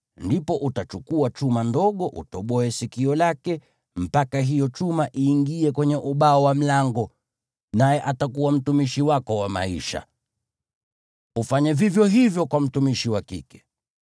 ndipo utachukua chuma kidogo utoboe sikio lake mpaka hicho chuma kiingie kwenye ubao wa mlango, naye atakuwa mtumishi wako wa maisha. Ufanye vivyo hivyo kwa mtumishi wa kike.